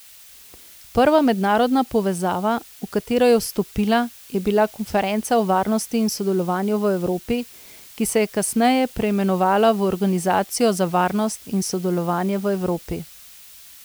Prva mednarodna povezava, v katero je vstopila, je bila Konferenca o varnosti in sodelovanju v Evropi, ki se je kasneje preimenovala v Organizacijo za varnost in sodelovanje v Evropi.